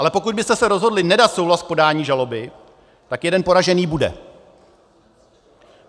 Ale pokud byste se rozhodli nedat souhlas k podání žaloby, tak jeden poražený bude.